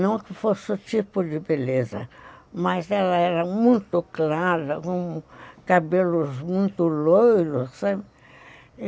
Não que fosse o tipo de beleza, mas ela era muito clara, com cabelos muito loiros, sabe.